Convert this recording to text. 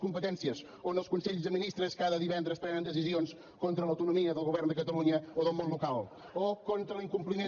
competències on els consells de ministres cada divendres prenen decisions contra l’autonomia del govern de catalunya o del món local o contra l’incompliment